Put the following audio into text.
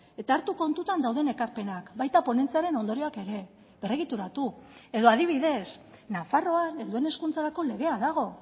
eta hartu kontutan dauden ekarpenak baita ponentziaren ondorioak ere berregituratu edo adibidez nafarroan helduen hezkuntzarako legea dago